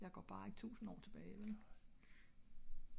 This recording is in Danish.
jeg går bare ikke tusind år tilbage vel?